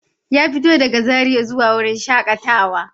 Ya fito daga Zaria zuwa wurin shakatawa.